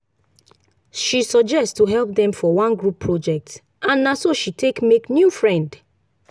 she suggest to help dem for one group project and na so she take make new friend.